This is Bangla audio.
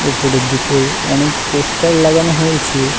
উপরের দিকেও অনেক পোস্টার লাগানো হয়েছে।